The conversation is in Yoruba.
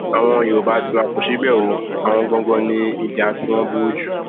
àwọn yorùbá tiwa kò ṣe bẹẹ o àwọn ganan ni ìjà tiwọn burú jù